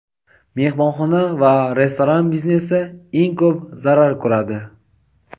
mehmonxona va restoran biznesi eng ko‘p zarar ko‘radi.